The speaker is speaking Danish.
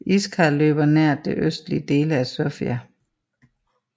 Iskar løber nær de østlige dele af Sofia